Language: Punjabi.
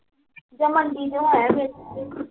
ਜਾਂ ਮੰਡੀ ਚੋਂ ਆਏ ਆ ਫਿਰ